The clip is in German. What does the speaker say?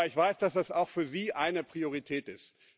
Aber ich weiß, dass das auch für Sie eine Priorität ist.